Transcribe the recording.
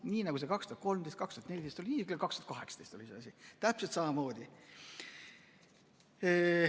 Nii nagu 2013, 2014, oli see ka 2018 täpselt samamoodi.